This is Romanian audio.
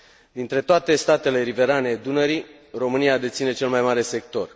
Dintre toate statele riverane Dunării, România deține cel mai mare sector.